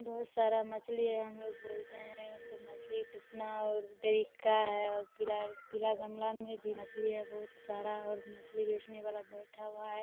बहुत सारा मछली है। हमलोग बोलते हैं उसको मछली कितना और देरी का है और पीला-पीला गमला में भी मछली है बहुत सारा और मछली बेचने वाला बैठा हुआ है।